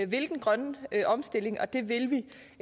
vil den grønne omstilling og det vil vi